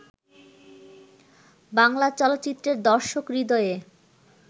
বাংলা চলচ্চিত্রের দর্শক হৃদয়ে